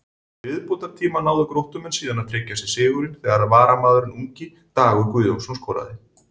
Í viðbótartíma náðu Gróttumenn síðan að tryggja sér sigurinn þegar varamaðurinn ungi Dagur Guðjónsson skoraði.